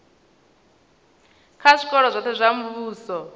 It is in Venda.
kha zwikolo zwoṱhe zwa muvhuso